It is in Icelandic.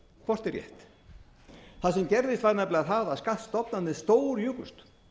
hvort er rétt það sem gerðist var nefnilega það að skattstofnarnir stórjukust